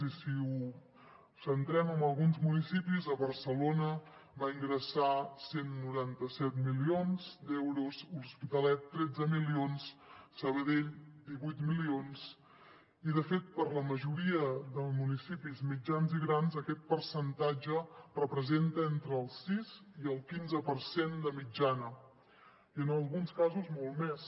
i si ho centrem en alguns municipis a barcelona va ingressar cent i noranta set milions d’euros l’hospitalet tretze milions sabadell divuit milions i de fet per a la majoria de municipis mitjans i grans aquest percentatge representa entre el sis i el quinze per cent de mitjana i en alguns casos molt més